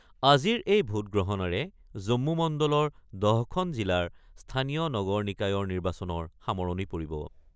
আজিৰ এই ভোটগ্ৰহণেৰে জম্মু মণ্ডলৰ ১০খন জিলাৰ স্থানীয় নগৰ নিকায়ৰ নিৰ্বাচনৰ সামৰণি পৰিব।